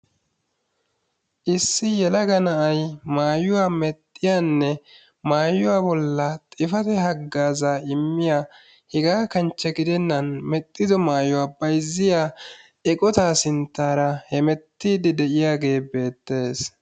Issi yelaga na'ay maayuwaanne aayuwaa bolli xifaate hagazza immiya hega kanchche gidenan maayuwaa sinttara hemetide de'iyaagee beettees.